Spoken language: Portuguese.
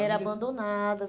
Eram abandonadas.